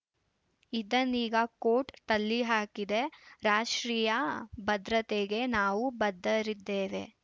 ಇದನ್ನೀಗ court ತಳ್ಳಿಹಾಕಿದೆ ರಾಷ್ಟ್ರೀಯ ಭದ್ರತೆಗೆ ನಾವು ಬದ್ಧರಿದ್ದೇವೆ